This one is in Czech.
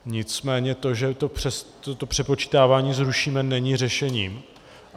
Nicméně to, že to přepočítávání zrušíme, není řešením.